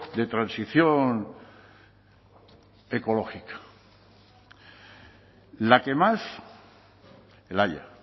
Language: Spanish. de transición ecológica la que más el haya